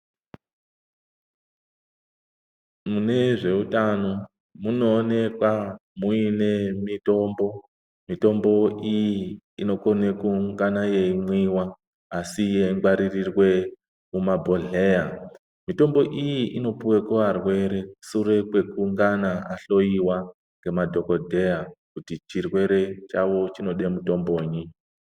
Munezveutano munoonekwa muine mutombo .Mutombo iyi inokone kungana yeimwiwa asi yeingwaririrwe mumabhohleya. Mitombo iyi inopuwa kuarwere sure kwekungana ahloiwa ngemadhokodheya kuti chirwere chawo chinode mutombonyi.